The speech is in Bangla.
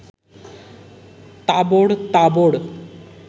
তাবড় তাবড়